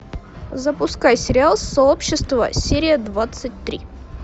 запускай сериал сообщество серия двадцать три